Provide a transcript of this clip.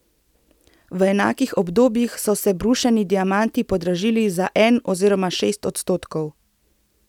V enakih obdobjih so se brušeni diamanti podražili za en oziroma šest odstotkov.